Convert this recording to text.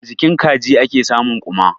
A jikin kaji ake samun ƙuma.